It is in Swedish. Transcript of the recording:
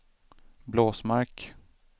Blåsmark